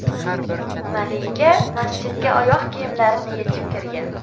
Malika masjidga oyoq kiyimlarini yechib kirgan.